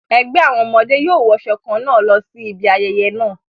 Ẹgbẹ́ àwọn ọmọdé yóò wọṣọ kan náà lọ sí ibi ayẹyẹ náà.